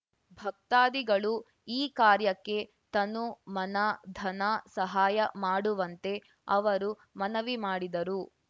ಭಕ್ತಾದಿಗಳು ಈ ಕಾರ್ಯಕ್ಕೆ ತನು ಮನ ಧನ ಸಹಾಯ ಮಾಡುವಂತೆ ಅವರು ಮನವಿ ಮಾಡಿದರು